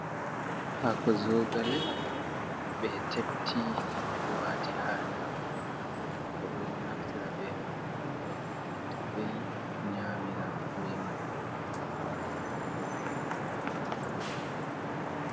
Haako zogale ɓe tepti ɓe wati ha nder roba ɓe ɗo naftira be haako man yonwalukito kai nyamira be man